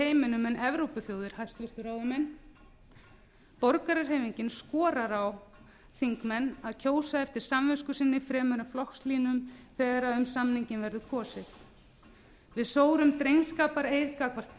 heiminum en evrópuþjóðir hæstvirtur ráðamenn borgarahreyfingin skorar á þingmenn að kjósa eftir samvisku sinni fremur en flokkslínum þegar um samninginn verður kosið við sórum drengskapareið gagnvart